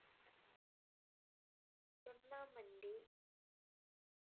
சுன்னா மண்டி